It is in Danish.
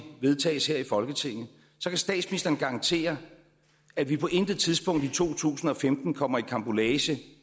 vedtages her i folketinget så kan statsministeren garantere at vi på intet tidspunkt i to tusind og femten kommer i karambolage